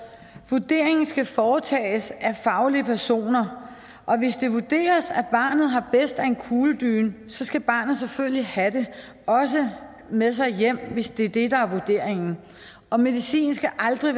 vurderingen skal foretages af fagpersoner og hvis det vurderes at barnet har bedst af en kugledyne skal barnet selvfølgelig have det også med sig hjem hvis det er det der er vurderingen og medicin skal aldrig